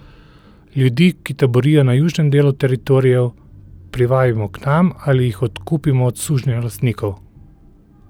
Ljudi, ki taborijo na južnem delu Teritorijev, privabimo k nam ali jih odkupimo od sužnjelastnikov.